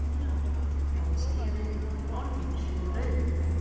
Síra Marteinn, má ég segja við þig nokkur orð undir fjögur augu?